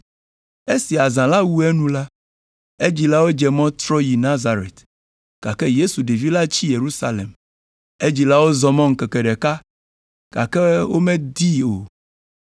Esi azã la wu enu la, edzilawo dze mɔ trɔ yina Nazaret, gake Yesu ɖevi la tsi Yerusalem. Edzilawo zɔ mɔ ŋkeke ɖeka, gake womedii o,